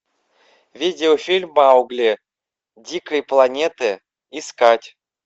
видео фильм маугли дикой планеты искать